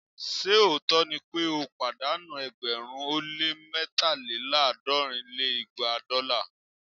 ṣe òótọ́ ni pé ó pàdánù ẹgbẹ̀rún ó lé mẹ́taléláàádọ́rin lé igba dọ́là?